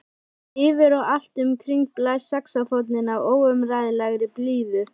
Yfir og allt um kring blæs saxófónninn af óumræðilegri blíðu.